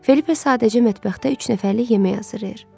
Felipa sadəcə mətbəxdə üç nəfərlik yemək hazırlayır.